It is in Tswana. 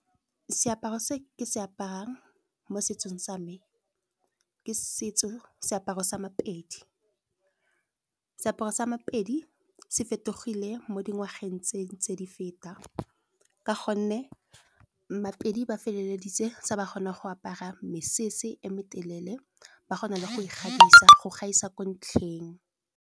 Seaparo se ke se aparang mo setsong sa me, ke setso seaparo sa maPedi. Seaparo sa maPedi se fetogile mo dingwageng tse ntse di feta, ka gonne maPedi ba feleleditse sa ba kgona go apara mesese e me telele, ba go na le go ikgabisa go gaisa ko ntlheng.